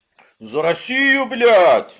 за россию блять